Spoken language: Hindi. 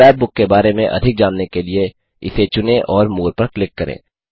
स्क्रैप बुक के बारे में अधिक जानने के लिए इसे चुनें और मोरे पर क्लिक करें